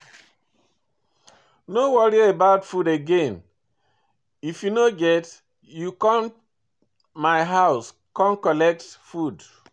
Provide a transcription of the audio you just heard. No worry about food again, if you no get, you come my house come collect food.